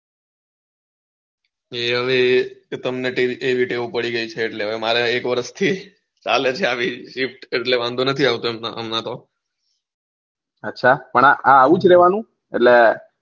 એ હવે તમને એવી ટેવ પડી ગઈ છે એટલે હવે મારે એક વરસ થી ચાલે છે આવી kept એટલે વાંધો નથી આવતો હમણાં તો અચ્છા પણ આ આવુજ રેવાનું એટલે